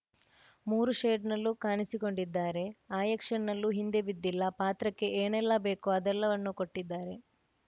ಮೂರು ಶೇಡ್‌ನಲ್ಲೂ ಕಾಣಿಸಿಕೊಂಡಿದ್ದಾರೆ ಆ್ಯಕ್ಷನ್‌ನಲ್ಲೂ ಹಿಂದೆ ಬಿದ್ದಿಲ್ಲ ಪಾತ್ರಕ್ಕೆ ಏನೆಲ್ಲಾ ಬೇಕೋ ಅದೆಲ್ಲವನ್ನೂ ಕೊಟ್ಟಿದ್ದಾರೆ